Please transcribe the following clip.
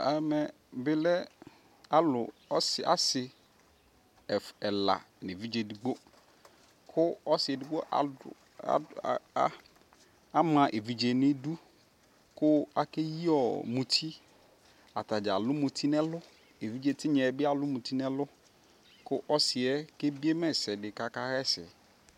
ɛmɛ bi lɛ alʋ asii ɛla nʋɛvidzɛ ɛdigbɔ kʋ ɔsii ɛdigbɔ adʋ, ama ɛvidzɛ nʋ idʋ kʋ akɛyiɔ mʋti, atagya alʋmʋtinʋɛlʋ, ɛvidzɛ tinyaɛ bi alʋ mʋti nʋ ɛlʋ kʋ ɔsiiɛ ɛbiɛ ma ɛsɛdi kʋ aka yɛsɛ